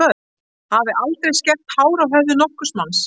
Hafi aldrei skert hár á höfði nokkurs manns.